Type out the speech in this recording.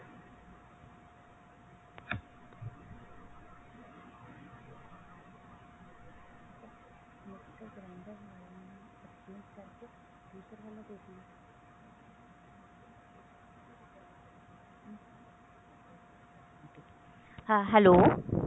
hello